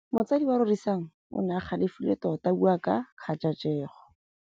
Motsadi wa Rorisang o ne a galefile tota a bua ka kgajajegô.